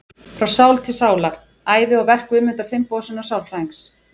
Frá sál til sálar: Ævi og verk Guðmundar Finnbogasonar sálfræðings.